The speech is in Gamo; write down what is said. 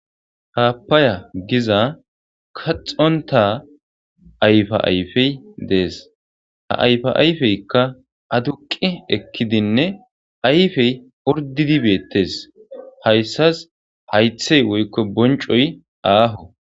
happaya giza kaxonta ayfa ayfey dees ha ayfa ayfeykka aduqi ekkidinne ayfey ordidi beettes hayssas haythey woykko boncoy aaho